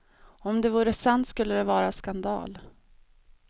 Om det vore sant skulle det vara skandal.